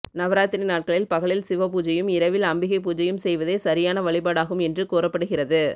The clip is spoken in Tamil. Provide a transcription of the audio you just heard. நவராத்திரி நாட்களில் பகலில் சிவ பூஜையும் இரவில் அம்பிகை பூஜையும் செய்வதே சரியான வழிபாடாகும் என்று கூறப்படுகிறது